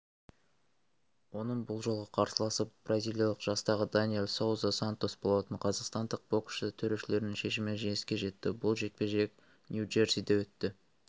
оның бұл жолғы қарсыласы бразилиялық жастағы даниэл соуза сантос болатын қазақстандық боксшы төрешілердің шешімімен жеңіске жетті бұл жекпе-жек нью-джерсиде өтті